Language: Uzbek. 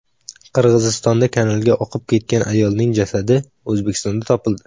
Qirg‘izistonda kanalga oqib ketgan ayolning jasadi O‘zbekistonda topildi.